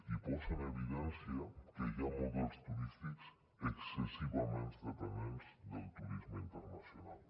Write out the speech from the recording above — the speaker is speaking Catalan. i posa en evidència que hi ha models turístics excessivament dependents del turisme internacional